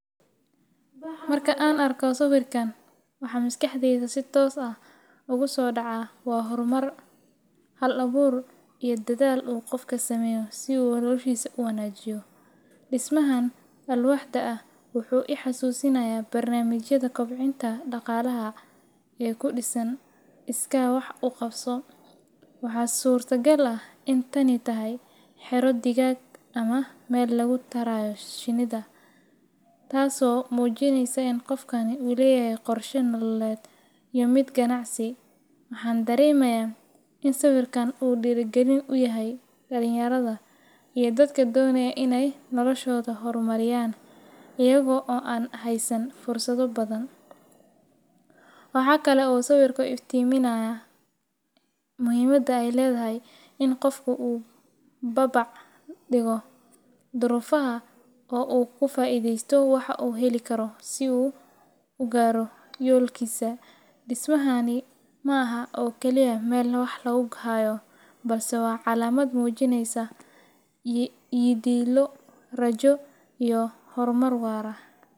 Marka aan arko sawirkan, waxa maskaxdayda si toos ah ugu soo dhaca waa horumar, hal-abuur iyo dadaal uu qofka sameeyay si uu noloshiisa u wanaajiyo. Dhismahan alwaaxda ah wuxuu i xasuusinayaa barnaamijyada kobcinta dhaqaalaha ee ku dhisan iskaa wax u qabso. Waxaa suurtagal ah in tani tahay xero digaag ama meel lagu tarayo shinida, taasoo muujinaysa in qofkani uu leeyahay qorshe nololeed iyo mid ganacsi. Waxaan dareemayaa in sawirkan uu dhiirigelin u yahay dhallinyarada iyo dadka doonaya in ay noloshooda horumariyaan iyaga oo aan haysan fursado badan. Waxaa kale oo sawirku iftiiminayaa muhiimadda ay leedahay in qofku u babac dhigo duruufaha oo uu ka faa’iideysto waxa uu heli karo si uu u gaaro yoolkiisa. Dhismahani ma aha oo kaliya meel wax lagu hayo, balse waa calaamad muujinaysa yididiilo, rajo, iyo horumar waara.